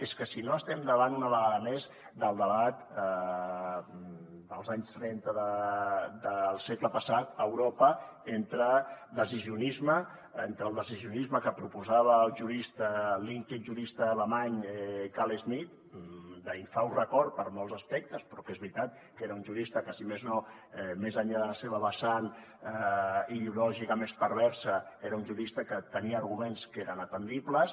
és que si no estem davant una vegada més del debat dels anys trenta del segle passat a europa entre el decisionisme que proposava l’ínclit jurista alemany carl schmitt d’infaust record per molts aspectes però que és veritat que era un jurista que si més no més enllà de la seva vessant ideològica més perversa tenia arguments que eren atendibles